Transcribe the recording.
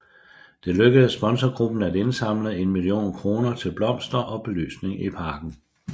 Det lykkedes sponsorgruppen at indsamle en million kroner til blomster og belysning i parken